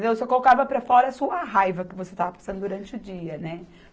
Você colocava para fora a sua raiva que você estava passando durante o dia, né?